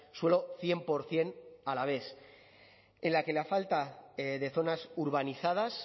suelo cien por ciento alavés en la que la falta de zonas urbanizadas